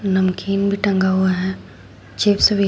नमकीन भी टंगा हुआ है चिप्स भी है।